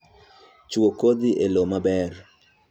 Chuo kodhi e lowo maber